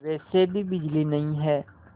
वैसे भी बिजली नहीं है